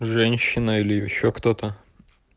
женщина или ещё кто-то